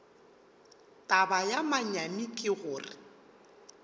taba ya manyami ke gore